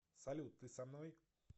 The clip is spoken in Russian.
салют ты со мной